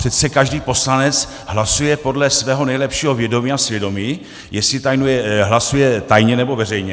Přece každý poslanec hlasuje podle svého nejlepšího vědomí a svědomí, jestli hlasuje tajně, nebo veřejně.